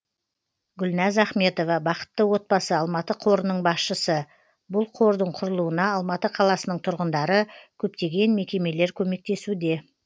гүлназ ахметова бақытты отбасы алматы қорының басшысы бұл қордың құрылуына алматы қаласының тұрғындары көптеген мекемелер көмектесуде